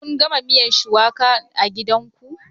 Kun gama miyan shuwakan a gidanku?